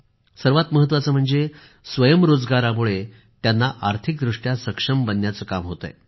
सर्वात महत्वाचे म्हणजे स्वयंरोजगारामुळे त्यांना आर्थिकदृष्ट्या सक्षम बनण्याचे काम होत आहे